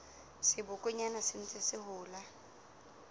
sebokonyana se ntseng se hola